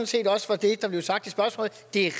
set også var det der blev sagt i spørgsmålet det er